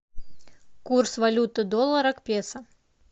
курс валюты доллара к песо